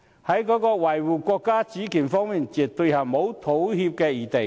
在維護國家主權方面，絕對沒有妥協餘地。